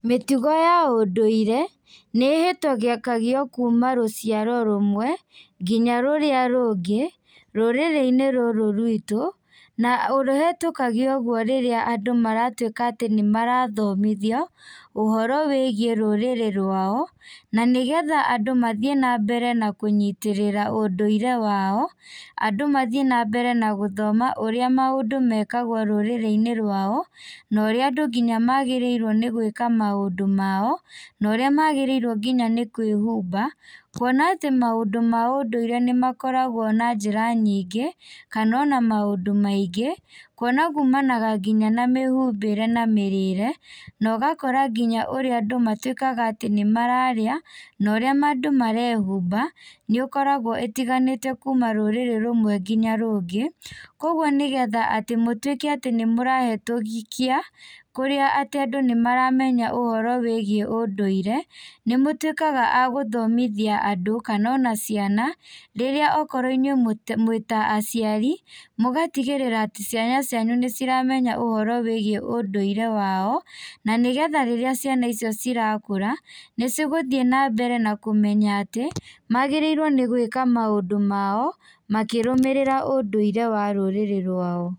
Mĩtugo ya ũndũire, nĩ ĩhĩtũgio kuma rũciaro rũmwe nginya rũrĩa rũngĩ, rũrĩrĩinĩ rũrũ rwitũ, na ũhetũkagio ũguo rĩrĩa andũ maratuĩka atĩ nĩmarathomithio, ũhoro wĩgiĩ rũrĩrĩ rwao, na nĩgetha andũ mathiĩ nambere na kũnyitĩrĩra ũndũire wao, andũ mathiĩ nambere nagũthoma ũrĩa maũndũ mekagwo rũrĩrĩinĩ rwao, na ũrĩa andũ nginya magĩrĩirwo nĩgwĩka maũndũ mao, na ũrĩa magĩrĩirwo nginya nĩ kwĩhumba, kuona atĩ maũndũ maũndũire nĩmakoragwo na njĩra nyingĩ, kana ona maũndũ maingĩ, kuona kumanaga nginya na mĩhumbĩre na mĩrĩre, na ũgakora nginya ũrĩa andũ matuĩkaga atĩ nĩmararĩaa, na ũrĩa andũ marehumba, nĩũkoragwo ĩtiganĩte kuma rũrĩrĩ rũmwĩ nginya rũngĩ, koguo nĩgetha atĩ mũtuĩke atĩ nĩmũrahetũkia, kũrĩa atĩ andũ nĩmaramenya ũhoro wĩgiĩ ũndũire, nĩmũtuĩkaga a gũthomithia andũ kana ona ciana, rĩrĩa okorwo inyuĩ mwĩ mwĩta aciari, mũgatigĩrĩra ciana cianyu nĩciramenya ũhoro wĩgiĩ ũndũire wao, na nĩgetha ciana icio cirakũra, nĩcigũthiĩ nambere na kũmenya atĩ, magĩrĩirwo nĩ gwĩka maũndũ mao, makĩrũmĩrĩra ũndũire wa rũrĩrĩ rwao.